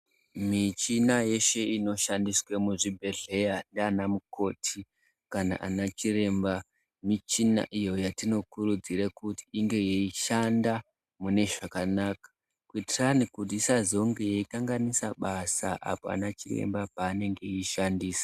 Muchina yeshe inoshandiswa mizvobhedhleya ndiana mukoti kana ana Chiremba michina iyo yatinokurudzira kuti inge yeiahanda mune zvakanaka kuti isazonge yeikanganisa basa ana Chiremba pavanenge veishandisa.